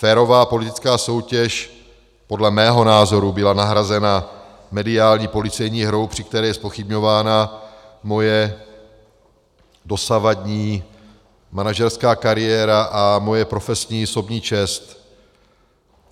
Férová politická soutěž podle mého názoru byla nahrazena mediální policejní hrou, při které je zpochybňována moje dosavadní manažerská kariéra a moje profesní i osobní čest.